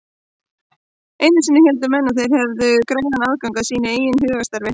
Einu sinni héldu menn einmitt að þeir hefðu greiðan aðgang að sínu eigin hugarstarfi.